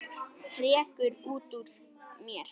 hrekkur út úr mér.